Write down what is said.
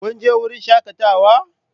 Kun je wurin shakatawa?